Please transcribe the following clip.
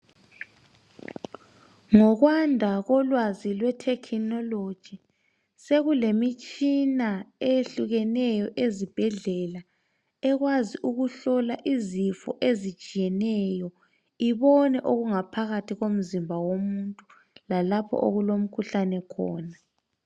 Ngokwanda kolwazi lwetechnology sekulemitshina eyehlukeneyo ezibhedlela ekwazi ukuhlola izifo ezitshiyeneyo ibone okungaphakathi komzimba womuntu lalapho okulomkhuhlane khona.